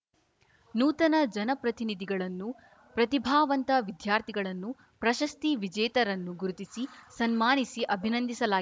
ನೂತನ ಜನಪ್ರತಿನಿಧಿಗಳನ್ನು ಪ್ರತಿಭಾವಂತ ವಿದ್ಯಾರ್ಥಿಗಳನ್ನು ಪ್ರಶಸ್ತಿ ವಿಜೇತರನ್ನು ಗುರುತಿಸಿ ಸನ್ಮಾನಿಸಿ ಅಭಿನಂದಿಸಲಾ